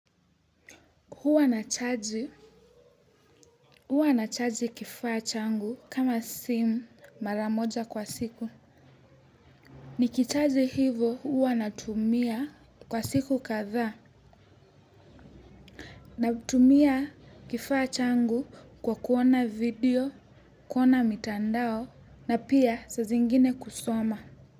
Huwa nachaji, huwa nachaji kifaa changu kama simu maramoja kwa siku. Nikichaji hivo huwa natumia kwa siku kadhaa natumia kifaa changu kwa kuona video, kuona mitandao na pia saa zingine kusoma.